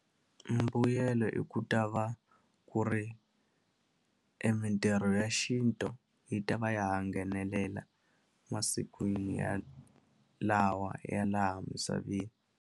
Mbuyelo i ku ta va ku ri emitirho ya xintu yi ta va ya ha nghenelela masikwini ya lawa ya laha misaveni.